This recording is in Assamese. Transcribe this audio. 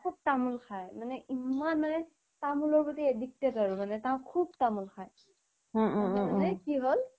খুব তামোল খায় মানে ইমানেই তামোলৰ প্ৰতি addicted আৰু মানে খুব তামোল খায় এবাৰ তাৰমানে কি হ্'ল